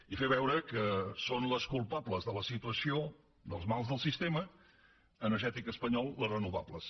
i fer veure que són les culpa bles de la situació dels mals del sistema energètic espanyol les renovables